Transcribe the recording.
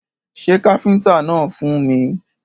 Pé káfíntà náà fún mi.